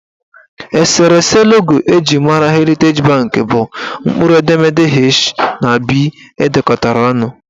Eserese logo eji mara Heriteji banki bụ mkpụrụ edemede H na B edekọrọ ọnụ